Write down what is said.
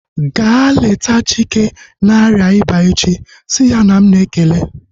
Ga leta Chike na-arịa ịba echi! Si ya na m na-ekele